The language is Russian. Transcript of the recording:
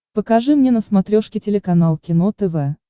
покажи мне на смотрешке телеканал кино тв